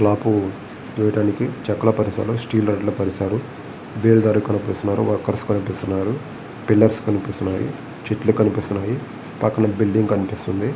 Slab వేయటానికి చెక్కలు పరిశారు స్టీల్ రాడ్ లు పరిశారు బేల్దారి కనిపిస్తున్నారు వారు వర్కర్స్ కనిపిస్తున్నారు పిల్లర్స్ కనిపిస్తున్నాయి చెట్లు కనిపిస్తున్నాయి పక్కన బిల్డింగ్ కనిపిస్తుంది.